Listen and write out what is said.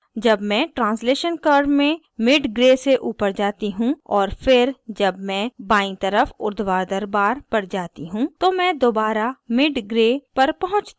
जब मैं translation curve में mid gray से ऊपर जाती हूँ और फिर जब मैं बायीं तरफ उर्ध्वाधर bar पर जाती हूँ तो मैं दोबारा mid gray पर पहुँचती हूँ